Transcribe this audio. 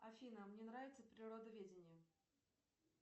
афина мне нравится природоведение